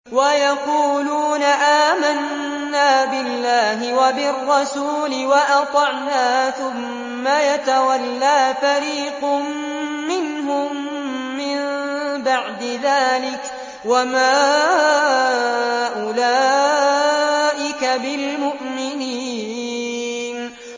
وَيَقُولُونَ آمَنَّا بِاللَّهِ وَبِالرَّسُولِ وَأَطَعْنَا ثُمَّ يَتَوَلَّىٰ فَرِيقٌ مِّنْهُم مِّن بَعْدِ ذَٰلِكَ ۚ وَمَا أُولَٰئِكَ بِالْمُؤْمِنِينَ